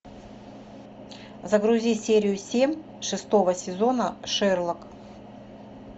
загрузи серию семь шестого сезона шерлок